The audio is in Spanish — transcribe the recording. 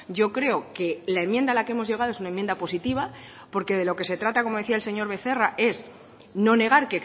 yo creo que la enmienda a la que hemos llegado es una enmienda positiva porque de lo que se trata como decía el señor becerra es no negar